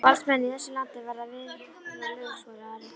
Valdsmenn í þessu landi verða að virða lög, svaraði Ari.